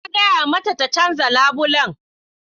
Na gaya mata ta canza labulen